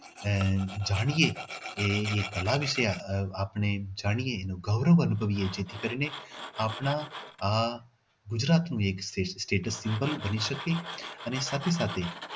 આહ જાણીએ કે એ કળા વિશે આપણે જાણીએ એ ગૌરવ અનુભવીએ છીએ કે ખાસ કરીને આપને આ ગુજરાતનું એક status symbol બની શકે અને સાથે સાથે